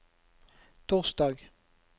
torsdag